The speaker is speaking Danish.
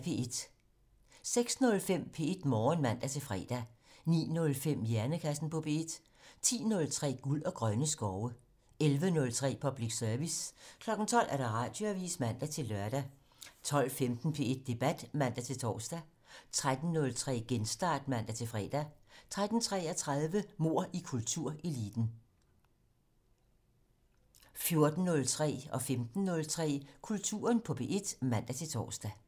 06:05: P1 Morgen (man-fre) 09:05: Hjernekassen på P1 10:03: Guld og grønne skove 11:03: Public Service 12:00: Radioavisen (man-lør) 12:15: P1 Debat (man-tor) 13:03: Genstart (man-fre) 13:33: Mord i kultureliten 14:03: Kulturen på P1 (man-tor) 15:03: Kulturen på P1 (man-tor)